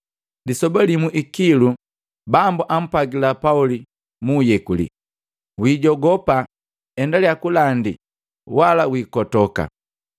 Lisoba limu ikilu, Bambu ampwagila Pauli muuyekuli, “Wijogopa, endalya kulandi wala kukotoka,